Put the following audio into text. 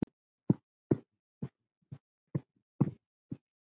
Trú til enda.